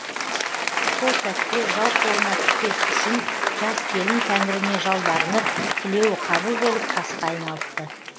сол сәтте жау қолына түспес үшін жас келін тәңіріне жалбарынып тілеуі қабыл болып тасқа айналыпты